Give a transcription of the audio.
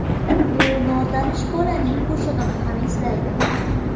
U notanish bolaning qo‘shig‘ini ham eslaydi.